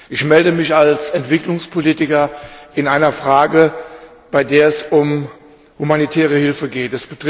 Ich melde mich als Entwicklungspolitiker in einer Frage, bei der es um humanitäre Hilfe geht.